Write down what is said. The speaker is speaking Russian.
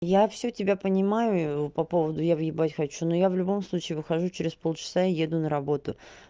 я всё тебя понимаю по поводу я въебать хочу но я в любом случае выхожу через полчаса и еду на работу